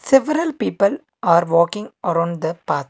Several people are walking around the path.